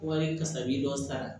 Wari kasabi dɔ sara